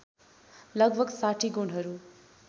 लगभग ६० गुणहरू